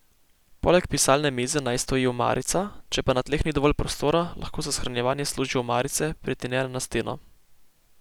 Poleg pisalne mize naj stoji omarica, če pa na tleh ni dovolj prostora, lahko za shranjevanje služijo omarice, pritrjene na steno.